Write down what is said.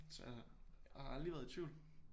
Så jeg har har aldrig været i tvivl